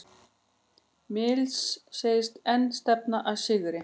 Mills segist enn stefna að sigri